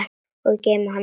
Og geyma hana líka.